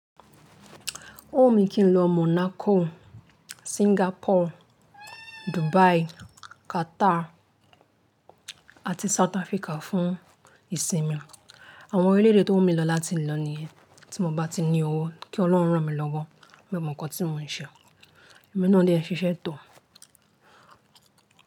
Ó wù mí kí n lọ Monaco, Singapore, Dubai, Qatar àti South Africa fún ìsinmi. Àwọn orílẹ̀ èdè tó wù mí lọ láti lọ nìyẹn. Tí mo bá ti ní owó, kí Ọlọ́run rán mi lọ́wọ́. Mio mọ̀ ǹkan tí mò ń ṣe. Ẹ̀mi náà dẹ́ ń ṣiṣẹ́ tò.